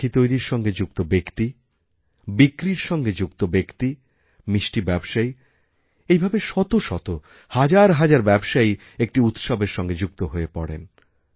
রাখি তৈরির সঙ্গে যুক্ত ব্যক্তি বিক্রির সঙ্গে যুক্ত ব্যক্তি মিষ্টি ব্যবসায়ী এই ভাবে শত শত হাজার হাজার ব্যবসায়ী একটি উৎসবের সঙ্গে যুক্ত হয়ে পড়েন